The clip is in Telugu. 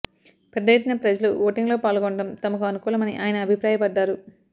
పెద్ద ఎత్తున ప్రజలు ఓటింగ్లో పాల్గొనడం తమకు అనుకూలమని ఆయన అభిప్రాయపడ్డారు